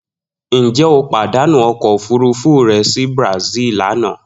Njẹ o padanu ọkọ ofurufu rẹ si Brazil lana?